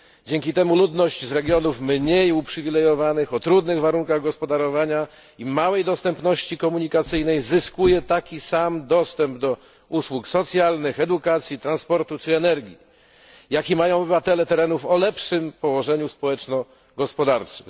Dzięki temu ludność z regionów mniej uprzywilejowanych, o trudnych warunkach gospodarowania i małej dostępności komunikacyjnej, zyskuje taki sam dostęp do usług socjalnych, edukacji, transportu czy energii, jaki mają obywatele terenów o lepszym położeniu społeczno gospodarczym.